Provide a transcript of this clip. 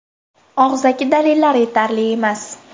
Og‘zaki dalillar yetarli emas.